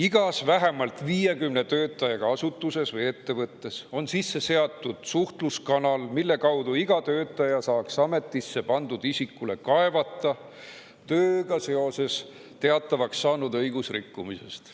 Igas vähemalt 50 töötajaga asutuses või ettevõttes on sisse seatud suhtluskanal, mille kaudu iga töötaja saaks ametisse pandud isikule kaevata tööga seoses teatavaks saanud õigusrikkumisest.